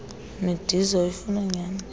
midiza oyifuna nyhani